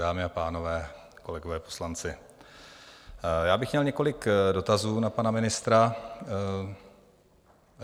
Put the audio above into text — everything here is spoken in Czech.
Dámy a pánové, kolegové poslanci, já bych měl několik dotazů na pana ministra.